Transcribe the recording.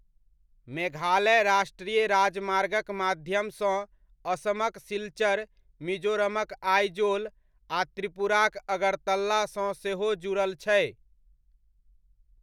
मेघालय राष्ट्रीय राजमार्गक माध्यम सँ असमक सिलचर, मिजोरमक आइजोल आ त्रिपुराक अगरतला सँ सेहो जुड़ल छै।